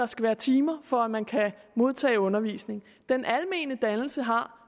skal være timer for at man kan modtage undervisning den almene dannelse har